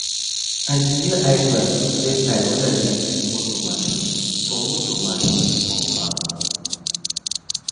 i dey wear eye glass to protect eye when i dey use motor machine for motor machine for farm